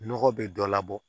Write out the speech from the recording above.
Nɔgɔ be dɔ labɔ